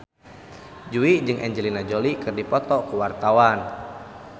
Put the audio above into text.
Jui jeung Angelina Jolie keur dipoto ku wartawan